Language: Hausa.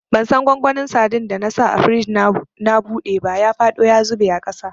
Bansan gwangwanin sadin da na sa a firij na buɗe ba, ya faɗo ya zube a ƙasa.